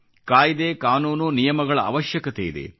ಕಾಯ್ದೆ ಕಾನೂನು ನಿಯಮಗಳ ಅವಶ್ಯಕತೆಯಿದೆ